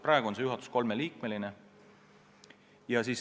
Praegu on see juhatus kolmeliikmeline.